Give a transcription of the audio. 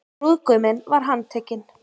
Brúðguminn var handtekinn